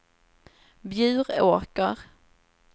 Bjuråker